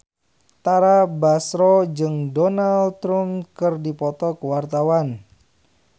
Tara Basro jeung Donald Trump keur dipoto ku wartawan